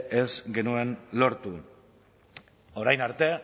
ez genuen lortu orain arte